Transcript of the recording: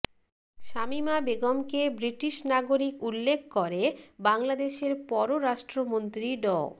শামীমা বেগমকে ব্রিটিশ নাগরিক উল্লেখ করে বাংলাদেশের পররাষ্ট্রমন্ত্রী ড